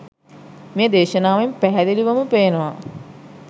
මේ දේශනාවෙන් පැහැදිලිවම පේනවා